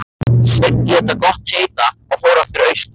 Sveinn lét það gott heita og fór aftur austur.